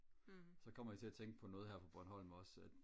så kommer jeg til at tænke på noget her på bornholm også at